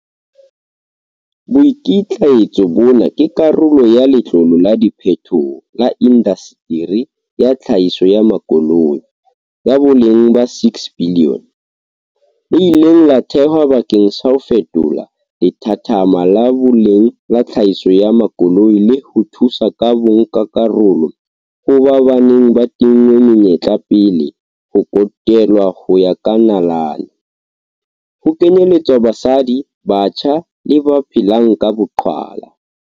Boikitlaetso bona ke karolo ya Letlole la Diphethoho la Indaseteri ya Tlhahiso ya Makoloi, ya boleng ba R6 bilione, le ileng la thehwa bakeng sa ho fetola lethathama la boleng la tlhahiso ya makoloi le ho thusa ka bonkakarolo ho ba ba neng ba tinngwe menyetla pele le ho kotelwa ho ya ka nalane, ho kenyeletswa basadi, batjha le ba phelang ka boqhwala.